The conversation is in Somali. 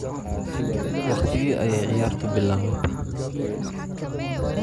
Waqtigee ayay ciyaartu bilaabatay?